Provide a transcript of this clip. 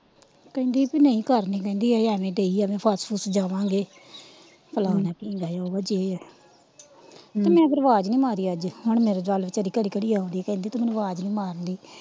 ਕਹਿੰਦੀ ਪੀ ਨਹੀਂ ਕਰਨੀ ਕਹਿੰਦੀ ਇਹ ਏਵੈ ਦਈ ਐਵੇ ਫੱਸ ਫੁਸ ਜਾਵਾਂਗੇ ਫਲਾਣਾ ਢੀਂਗਰਾ ਉਹ ਵਾ ਜੇ ਵਾ ਮੈ ਫਿਰ ਆਵਾਜ਼ ਨਹੀਂ ਮਾਰੀ ਅੱਜ ਤੇ ਹੁਣ ਮੇਰੇ ਦੁਆਲੇ ਵਿਚਾਰੀ ਘੜੀ ਘੜੀ ਆਉਂਦੀ ਕਹਿੰਦੀ ਤੂੰ ਮੈਨੂੰ ਆਵਾਜ਼ ਨਹੀਂ ਮਾਰਦੀ।